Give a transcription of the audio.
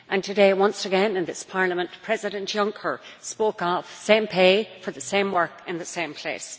Today, once again in this Parliament, President Juncker spoke of the same pay for the same work in the same place.